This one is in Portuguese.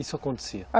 Isso acontecia?